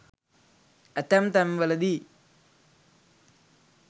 ඇතැම් තැන්වලදී